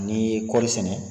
Ni ye kɔɔri sɛnɛ.